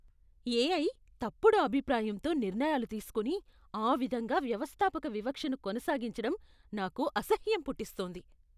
AI తప్పుడు అభిప్రాయంతో నిర్ణయాలు తీసుకొని, ఆ విధంగా వ్యవస్థాపక వివక్షను కొనసాగించడం నాకు అసహ్యం పుట్టిస్తోంది.